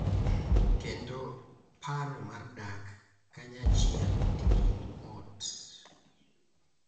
Kendo paro mar dak kanyachiel e kind ot.